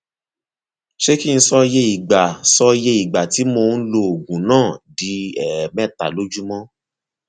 ṣé kí n sọ iye ìgbà sọ iye ìgbà tí mò ń lo oògùn náà di ẹẹmẹta lójúmọ